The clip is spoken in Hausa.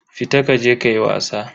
Fita kaje kayi wasa.